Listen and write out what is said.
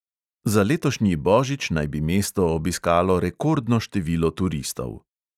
Za letošnji božič naj bi mesto obiskalo rekordno število turistov.